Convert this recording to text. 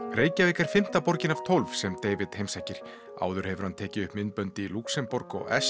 Reykjavík er fimmta borgin af tólf sem David heimsækir áður hefur hann tekið upp myndbönd í Lúxemborg og